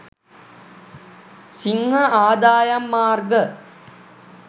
සිංහ ආදායම් මාර්ග